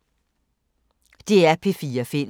DR P4 Fælles